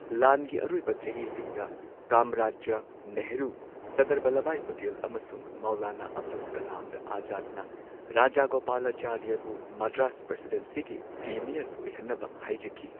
ꯂꯥꯟꯒꯤ ꯑꯔꯣꯏꯕ ꯆꯍꯤꯁꯤꯡꯗ ꯀꯝꯔꯥꯖꯗ ꯅꯦꯍꯔꯨ, ꯁꯔꯗꯥꯔ ꯚꯜꯕꯚꯥꯏ ꯄꯇꯦꯜ ꯑꯃꯁꯨꯡ ꯃꯧꯂꯥꯅꯥ ꯑꯕꯗꯨꯜ ꯀꯂꯥꯝ ꯑꯥꯖꯥꯗꯅ ꯔꯥꯖꯥꯒꯣꯄꯥꯂꯥꯆꯥꯔꯤꯕꯨ ꯃꯗ꯭ꯔꯥꯁ ꯄ꯭ꯔꯦꯁꯤꯗꯦꯟꯁꯤꯒꯤ ꯄ꯭ꯔꯤꯃꯤꯌꯔ ꯑꯣꯏꯍꯟꯅꯕ ꯍꯥꯏꯖꯈꯤ꯫